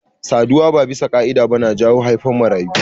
Saduwa ba bisa ka'ida ba na jawo haifan marayu.